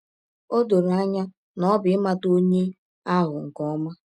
Ọ dọrọ anya na ọ bụ ịmata ọnye ahụ nke ọma.